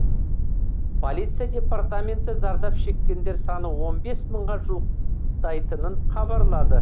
полиция департаменті зардап шеккендер саны он бес мыңға жуықтайтынын хабарлады